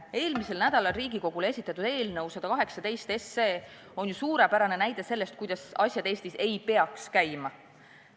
Eelmisel nädalal Riigikogule esitatud eelnõu 118 on ju suurepärane näide sellest, kuidas asjad Eestis ei peaks käima.